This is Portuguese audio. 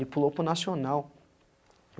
Ele pulou para o nacional.